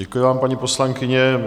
Děkuji vám, paní poslankyně.